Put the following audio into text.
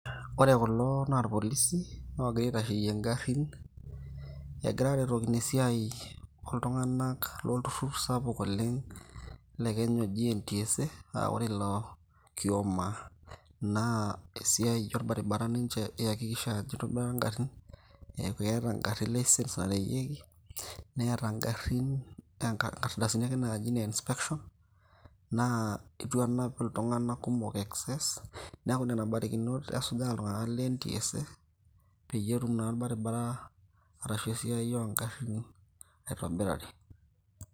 ore kulo naa irpolisi loogira aitasheyie ing'arrin egura aretokino esiai oltung'anak lolturrur sapuk oleng' le kenya oji NTSA naa ore ilo kioma naa esiai orbaribara ninche iakikisha ajo itobirari ingarrin eeku keeta ingarrin license nareyieki neeta ingarrin inkardasini ake naaji ne inspection naa itu enap iltung'anak kumok excess neku nena barikinot esuja iltung'anak le NTSA peetum naa orbaribara arashu esiai ong'arin aitobirari.